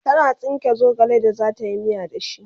tana tsinka zogale da zatayi miya da shi